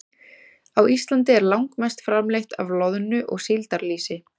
Á Íslandi er langmest framleitt af loðnu- og síldarlýsi.